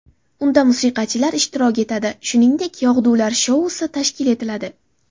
Unda musiqachilar ishtirok etadi, shuningdek, yog‘dular shousi tashkil etiladi.